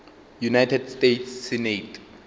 united states senate